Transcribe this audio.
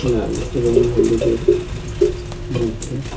লাল এবং হলুদের মধ্যে --